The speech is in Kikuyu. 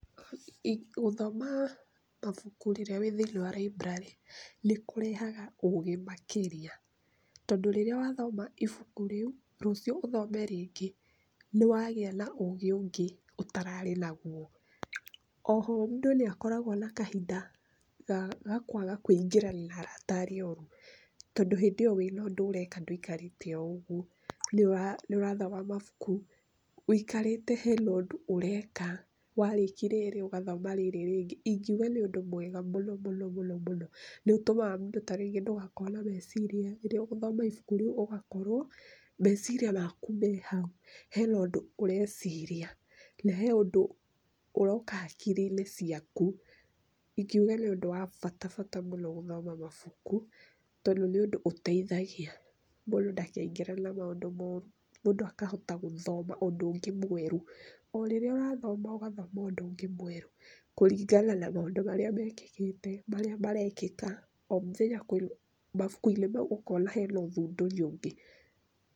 Gũthoma mabuku rĩrĩa wĩ thĩinĩ library nĩ kũrehaga ũũgĩ makĩria. Tondũ rĩrĩa wathoma ibuku rĩu, rũciũ ũthome rĩngĩ, nĩ wagĩa na ũũgĩ ũngĩ ũtararĩ naguo. Oho mũndũ nĩakoragwo na kahinda ga kwaga kũingĩrana na arata arĩa oru. Tondũ hĩndĩ ĩyo wĩna ũndũ ũreeka ndũikarĩte oo ũguo, nĩũrathoma mabuku. ũikari he na ũndũ ũreeka. Warĩkia rĩrĩ ũgathoma rĩrĩ rĩngĩ. Ingiuga nĩ ũndũ mwega mũno mũno. Nĩũtũmaga mũndũ ta rĩngĩ ndũgakorwo na meciria mooru. Rĩrĩa ũgũthoma ibuku rĩu, ũkoragwo meciria maku me hau he na ũndũ ũreciria. Na he ũndũ ũroka hakiri-inĩ ciaku. Ingiuga nĩ ũndũ wa bata mũno gũthoma mabuku tondũ nĩũndũ ũteithagia mũndũ ndakaingĩrane na maũndũ mooru. Mũndũ akahota gũthoma ũndũ ũngĩ mwerũ kũringana na maũndũ marĩa mekĩkĩte, marĩa marekĩka. O mũthenya mabuku-inĩ mau kũrĩ ũthundũri ũngĩ.